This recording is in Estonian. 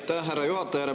Aitäh, härra juhataja!